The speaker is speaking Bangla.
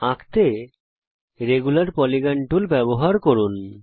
আঁকতে রেগুলার পলিগন টুল ব্যবহার করুন